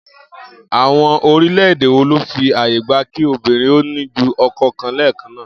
Àwo̩n orílè̩-èdè wo ló fi àyè gba kí obìnrin ó ní ju o̩ko̩ kan lé̩è̩kan náà?